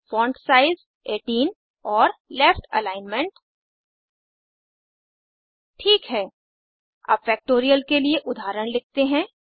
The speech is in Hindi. फोंट साइज 18 और लेफ्ट एलिग्नमेंट ठीक है अब फैक्टोरियल के लिए उदाहरण लिखते हैं